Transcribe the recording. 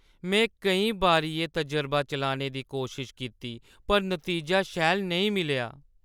में केईं बारी एह् तजरबा चलाने दी कोशश कीती पर नतीजा शैल नेईं मिलेआ।